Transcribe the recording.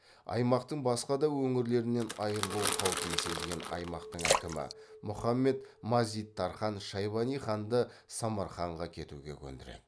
аймақтың басқа да өңірлерінен айырылу қаупін сезген аймақтың әкімі мұхаммед мазид тархан шайбани ханды самарқанға кетуге көндіреді